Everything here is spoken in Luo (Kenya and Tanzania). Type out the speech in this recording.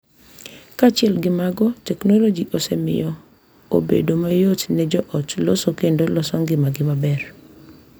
Kaachiel gi mago, teknoloji osemiyo obedo mayot ne joot loso kendo loso ngimagi maber.